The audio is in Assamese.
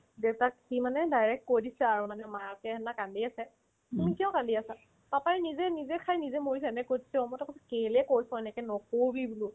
দেউতাক সি মানে direct কৈ দিছে আৰু মানে মায়াকে হেনু কান্দি আছে তুমি কিয় কান্দি আছা papa ই নিজে নিজে খাই নিজে মৰিছে নে সত্য মইতো আকৌ কেলেই কৰছ এনেকে নকৰবি বোলো